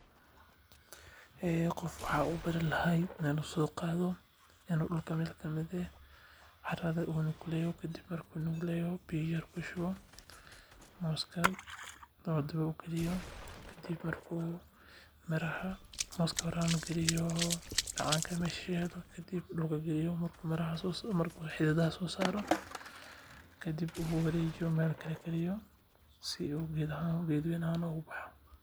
Qof waxaan ubaru lahaa inuu soo qaado inuu dulka meel kamid ah qodo carada soo qaado miraha galiyo biya siiyo si aay geedka sifican ubaxo.